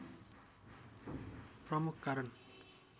प्रमुख कारण